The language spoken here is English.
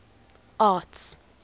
arts